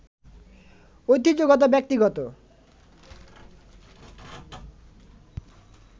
ঐতিহ্যগত, ব্যক্তিগত